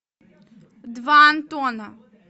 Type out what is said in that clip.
два антона